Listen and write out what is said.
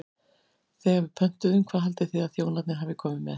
Þegar við pöntuðum, hvað haldið þið að þjónarnir hafi komið með?